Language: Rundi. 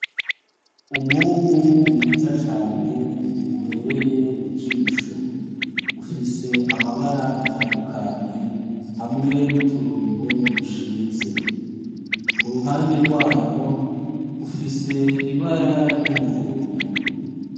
Umwungu mwiza cane ubereye ijisho. Ufise amabara atandukanye hamwe n'uturongo dushinze. Ku ruhande rwayo ifise ibara ry'umuhondo.